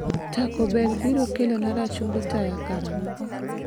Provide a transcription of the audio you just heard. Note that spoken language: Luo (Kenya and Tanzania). Taco Bell biro kelona rachungi taya karang'o?